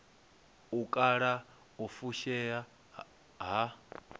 u kala u fushea ha